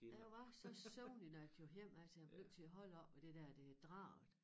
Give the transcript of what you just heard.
Og jeg var så søvnig når jeg kørte hjemad så jeg blev nødt til at holde oppe ved det der det Draget